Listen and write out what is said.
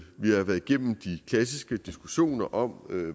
vi har været igennem de klassiske diskussioner om